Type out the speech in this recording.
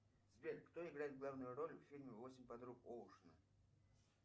сбер кто играет главную роль в фильме восемь подруг оушена